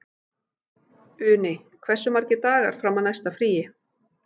Uni, hversu margir dagar fram að næsta fríi?